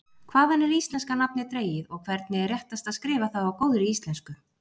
Hvaðan er íslenska nafnið dregið og hvernig er réttast að skrifa það á góðri íslensku?